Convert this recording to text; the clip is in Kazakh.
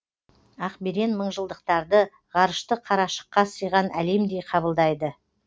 ақберен мыңжылдықтарды ғарышты қарашыққа сыйған әлемдей қабылдайды